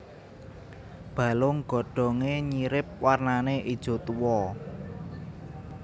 Balung godhonge nyirip warnane ijo tuwa